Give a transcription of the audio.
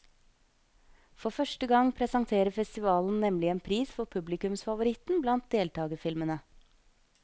For første gang presenterer festivalen nemlig en pris for publikumsfavoritten blant deltagerfilmene.